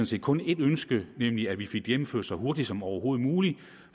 set kun et ønske nemlig at vi fik det gennemført så hurtigt som overhovedet muligt